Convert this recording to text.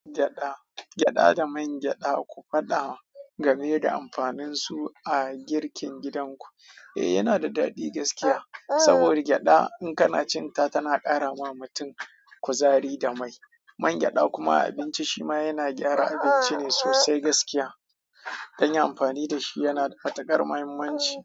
Gyada, gyada da man gyada ku faɗa game da amfanin su a girkin gidanku. Eh yana da daɗi gaskiya. Saboda gyada in kana cin ta tana ƙara wa mutum kuzari da mai. Man gyada kuma abinci shi ma yana gyara abinci ne sosai gaskiya. Dan yi amfani da shi yana da matuƙar muhimmanci.